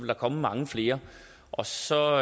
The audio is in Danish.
der komme mange flere og så